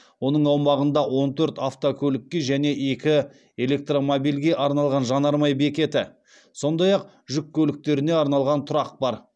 оның аумағында он төрт автокөлікке және екі электромобильге арналған жанармай бекеті сондай ақ жүк көліктеріне арналған тұрақ бар